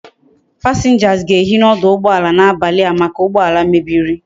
Passengers ga ehi na oduugboala na abali a make ugboala mebiri